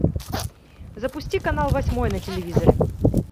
запусти канал восьмой на телевизоре